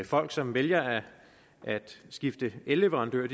folk som vælger at skifte elleverandør